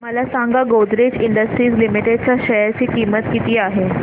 मला सांगा Godrej industries limited च्या शेअर ची किंमत किती आहे